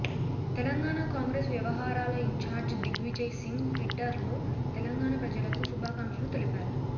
తెలంగాణా కాంగ్రెస్ వ్యవహారాల in charge Digvijay Singh Twitter లో తెలంగాణా ప్రజలకు శుభాకాంక్షలు తెలిపారు